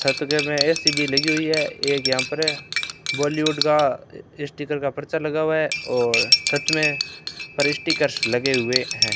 छत के में ए_सी भी लगी हुई है एक यहां पर बॉलीवुड का स्टीकर का पर्चा लगा हुआ है और छत में पर स्टिकर्स लगे हुए हैं।